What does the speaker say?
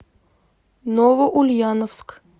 новоульяновск